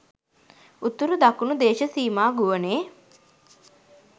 උතුරු දකුණු දේශසීමා ගුවනේ